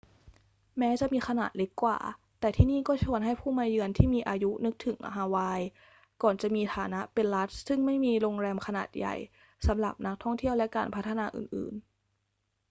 แม้จะมีขนาดเล็กกว่า แต่ที่นี่ก็ชวนให้ผู้มาเยือนที่มีอายุนึกถึงฮาวายก่อนจะมีฐานะเป็นรัฐซึ่งไม่มีโรงแรมขนาดใหญ่สำหรับนักท่องเที่ยวและการพัฒนาอื่น ๆ